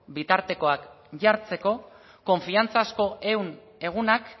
bitartekoak jartzeko konfiantzazko ehun egunak